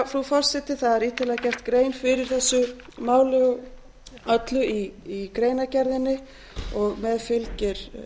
frú forseti það er ítarlega gerð grein fyrir þessu máli öllu í greinargerðinni og með fylgir